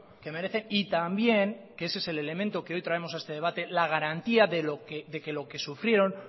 que merecen y también que ese es el elemento que hoy traemos a este debate la garantía de que lo que sufrieron